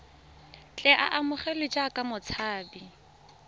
tle a amogelwe jaaka motshabi